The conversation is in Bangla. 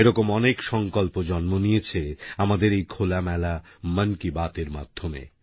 এরকম অনেক সংকল্প জন্ম নিয়েছে আমাদের এই খোলামেলা মন কি বাতএর মাধ্যমে